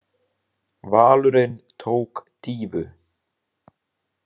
Valurinn tók dýfu.